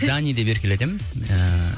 зани деп еркелетемін ііі